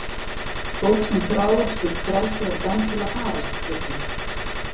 Fólk sem þráir slíkt frelsi er dæmt til að farast Pétur.